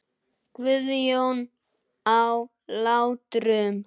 Guðjón á Látrum.